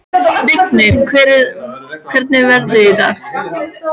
Vignir, hvernig er veðrið í dag?